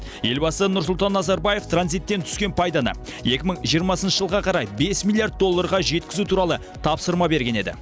елбасы нұрсұлтан назарбаев транзиттен түскен пайданы екі мың жиырмасыншы жылға қарай бес миллиард долларға жеткізу туралы тапсырма берген еді